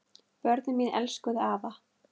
Börnin mín elskuðu afa.